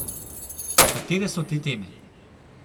Katere so te teme?